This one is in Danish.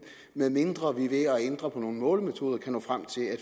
medmindre vi ved at ændre på nogle målemetoder kan nå frem til at